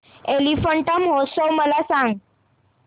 एलिफंटा महोत्सव मला सांग